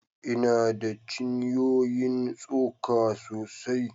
Ina da cinyoyin tsoka sosai